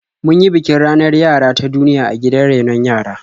Mun yi bikin ranar yara ta duniya a gidan rainon yara.